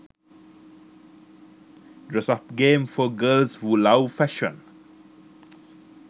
dress up games for girls who love fashion